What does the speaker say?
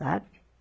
Sabe?